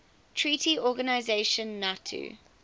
treaty organization nato